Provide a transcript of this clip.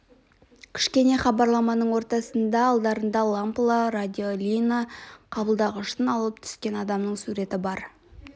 кішкене хабарламаның ортасында алдарына лампылы радиолина қабылдағышын алып түскен адамның суреті бар